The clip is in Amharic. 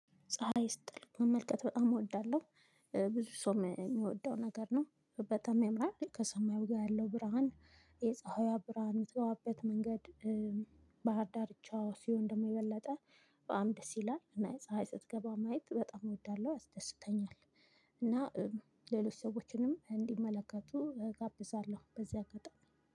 ፀሀይ ስትጠልቅ መመልከት በጣም እወዳለሁ። ብዙ ሰው የሚወደው ነገር ነው በጣም ያምራል ከሰማዩ ጋር ያለው ብርሃን የፀሀይዋ ብርሃን የምትገባበት መንገድ። ባህር ዳርቻ ሲሆን ደግሞ የበለጠ በጣም ደስ ይላል እና ፀሀይ ስትገባ ማየት በጣም እወዳለሁ ያስደስተኛል። እና ሌሎች ሰዎችንም እንዲመለከቱ እጋብዛለሁ። በዚህ አጋጣሚ